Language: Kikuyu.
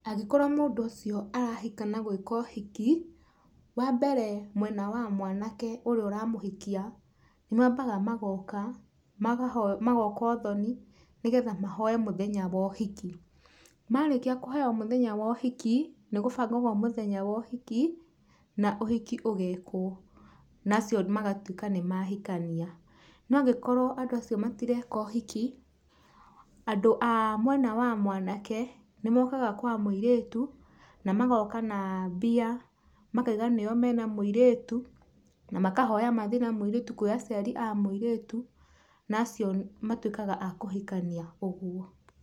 Angĩkorwo mũndũ ũcio arahika na gũĩka ũhiki, wa mbere mwena wa mwanake ũrĩa ũramũhikia nĩmambaga magoka, magoka ũthoni, nĩgetha mahoe mũthenya wa ũhiki. Marĩkia kũhoya mũthenya wa ũhiki, nĩgũbangagwo mũthenya wa ũhiki na ũhiki ũgekwo naacio magatuĩka nĩ mahikania. No angĩkorwo andũ acio matireka ũhiki, andũ a mwena wa mwanake, nĩmokaga kwa mũirĩtu, na magoka na mbia makaiga nĩo me na mũirĩtu na makahoya mathiĩ na mũirĩtu kũrĩ aciari a mũirĩtu, na acio matuĩkaga a kũhikania ũguo.